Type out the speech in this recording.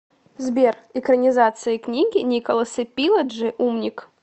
сбер экранизация книги николаса пиледжи умник